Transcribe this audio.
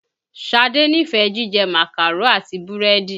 Ṣadé nífẹ̀ẹ jíjẹ Màkàró àti búrẹ́dì.